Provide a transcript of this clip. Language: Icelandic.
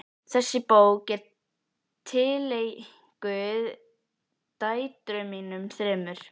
Þessi bók er tileinkuð dætrum mínum þremur.